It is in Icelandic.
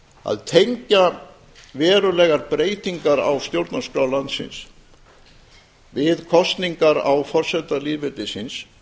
að tengja verulegar breytingar á stjórnarskrá landsins við kosningar á forseta lýðveldisins